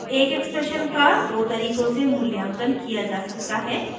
* एक expression का दो तरीकों से मूल्यांकन किया जा सकता है